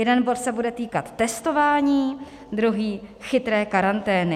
Jeden bod se bude týkat testování, druhý chytré karantény.